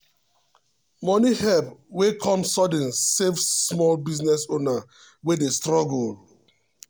money help wey come sudden save small business owner wey dey struggle.